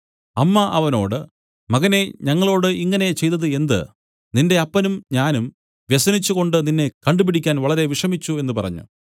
അമ്മ അവനോട് മകനേ ഞങ്ങളോടു ഇങ്ങനെ ചെയ്തതു എന്ത് നിന്റെ അപ്പനും ഞാനും വ്യസനിച്ചുകൊണ്ട് നിന്നെ കണ്ടുപിടിക്കാൻ വളരെ വിഷമിച്ചു എന്നു പറഞ്ഞു